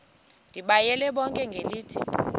ndibayale bonke ngelithi